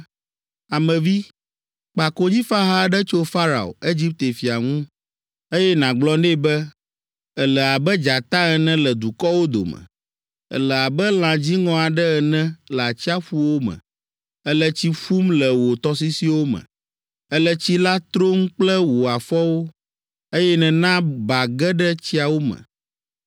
“Ame vi, kpa konyifaha aɖe tso Farao, Egipte fia ŋu, eye nàgblɔ nɛ be, ‘Èle abe dzata ene le dukɔwo dome, èle abe lã dziŋɔ aɖe ene le atsiaƒuwo me. Èle tsi ƒum le wò tɔsisiwo me, “ ‘Èle tsi la trom kple wò afɔwo, Eye nèna ba ge ɖe tsiawo me.